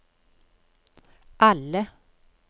alle